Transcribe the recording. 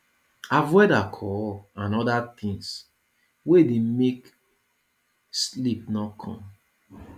avoid alcohol and oda things wey dey make sleep no come